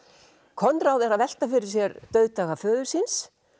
Konráð er að velta fyrir sér dauðdaga föður síns